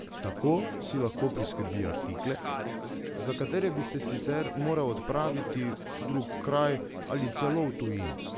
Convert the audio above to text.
Tako si lahko priskrbi artikle, za katere bi se sicer moral odpraviti v drug kraj ali celo v tujino.